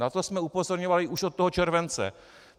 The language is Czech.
Na to jsme upozorňovali už od toho července.